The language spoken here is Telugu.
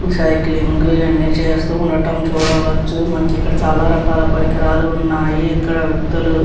సైక్లింగ్ ఇవి అన్నీ చేస్తూ ఉండడం చూడవచ్చు మనకి ఇక్కడ చాలా రకాల పరికరాలు ఉన్నాయి ఇక్కడ వ్యక్తులు --